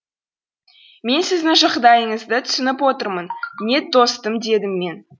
мен сіздің жағдайыңызды түсініп отырмын нед достым дедім мен